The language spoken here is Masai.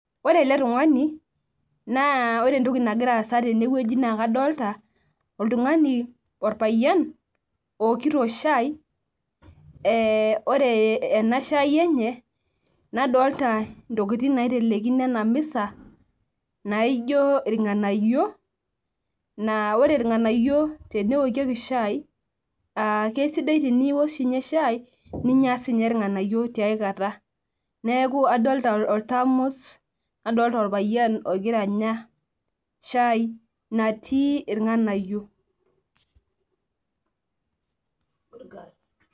Ore ele tungani naa ore entoki nagira aasa tenewueji naa kadolta oltungani orpayian ookito shai , ee ore enashai enye nadolta ntokitin naitelekino enamisa naijo irnganayio naa ore irnganayio teneokieki shai aa kesidai teniok ninye shai ,ninya sininye irnganayio tiay kata, neeku adolta oltamus , nadolita orpayian ogira anya shai natii irganayio.